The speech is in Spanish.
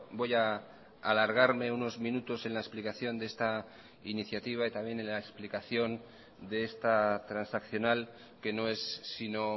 voy a alargarme unos minutos en la explicación de esta iniciativa y también en la explicación de esta transaccional que no es sino